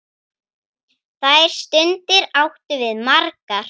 Þær stundir áttum við margar.